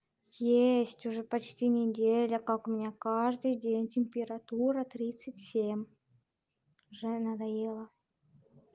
есть уже почти неделя как у меня каждый день температура тридцать семь уже надоело